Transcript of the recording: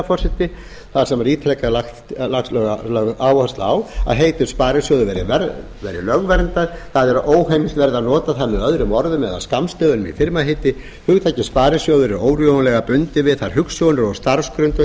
forseti það sem er ítrekað lögð áhersla á að heitið sparisjóður verði lögverndað það er að óheimilt verði að nota það með öðrum orðum eða skammstöfunum í firmaheiti hugtakið sparisjóður er órjúfanlega bundið við þær hugsjónir og starfsgrundvöll